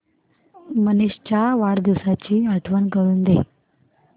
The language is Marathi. मनीष च्या वाढदिवसाची आठवण करून दे